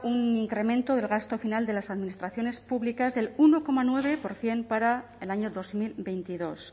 un incremento del gasto final de las administraciones públicas del uno coma nueve por ciento para el año dos mil veintidós